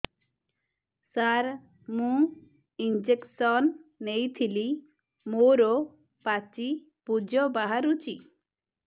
ସାର ମୁଁ ଇଂଜେକସନ ନେଇଥିଲି ମୋରୋ ପାଚି ପୂଜ ବାହାରୁଚି